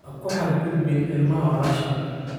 Ha ku xad gudbin ilmaha walaasha.